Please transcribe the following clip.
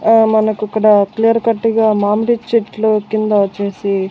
అహ్ మనకు ఇక్కడ క్లియర్ కట్గా మామిడి చెట్లు కింద వచ్చేసి --